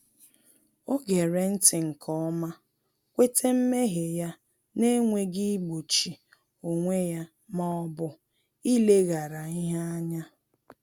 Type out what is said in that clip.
Ọ ghere nti nke ọma, kweta mmehie ya n’enweghị igbochi onwe ya ma ọ bụ ileghara ihe anya